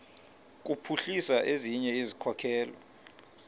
kuphuhlisa ezinye izikhokelo